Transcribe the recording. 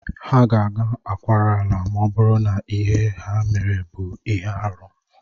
Ha ga-aga akwara ala ma ọ bụrụ na ihe ha mere bụ ihe arụ